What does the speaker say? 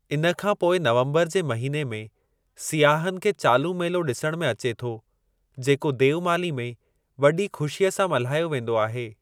इन खां पोइ नवम्बर जे महिने में सियाहनि खे चालू मेलो ॾिसण में अचे थो जेको देवमाली में वॾी ख़ुशीअ सां मल्हायो वेंदो आहे।